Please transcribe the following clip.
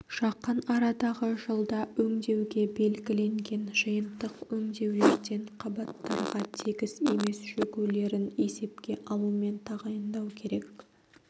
жақын арадағы жылда өңдеуге белгіленген жиынтық өңдеулерден қабаттарға тегіс емес шөгулерін есепке алумен тағайындау керек